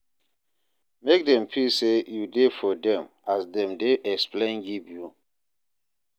Make dem feel say you de for dem as dem de explain give you